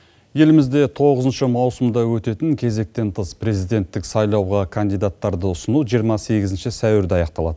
елімізде тоғызыншы маусымда өтетін кезектен тыс президенттік сайлауға кандидаттарды ұсыну жиырма сегізінші сәуірде аяқталады